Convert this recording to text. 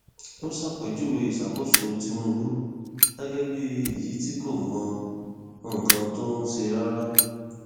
ó ṣàpèjúwe ìṣàkóso tìǹbù gẹgẹ bíi èyí tí kò mọ nǹkan tó ń ṣe rárá